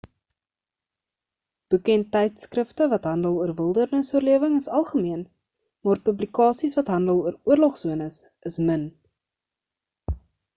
boeke en tydskrifte wat handel oor wildernisoorlewing is algemeen maar publikasies wat handel oor oorlogsones is min